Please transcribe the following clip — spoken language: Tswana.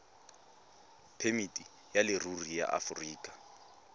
phemiti ya leruri ya aforika